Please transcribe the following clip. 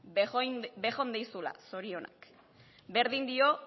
bejondeizuela zorionak berdin dio